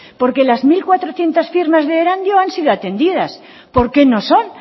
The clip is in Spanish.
porque las mil cuatrocientos firmas de erandio han sido atendidas por qué no son